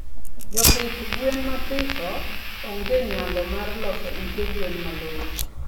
Jopidh gwen mathiso ongenyalo mar loso ute gwen malongo